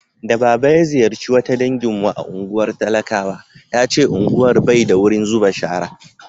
da baba ya ziyarce wata dangin mu a unguwar talakawa ya ce unguwar Bai da wurin zuba shara